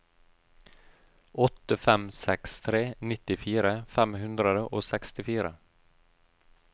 åtte fem seks tre nittifire fem hundre og sekstifire